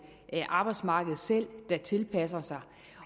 arbejdsmarkedet selv der tilpasser sig